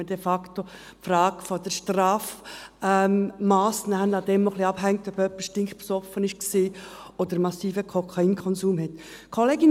Denn de facto hängt die Frage des Strafmasses etwas davon ab, ob jemand stinkbesoffen war oder massiven Kokainkonsum hatte.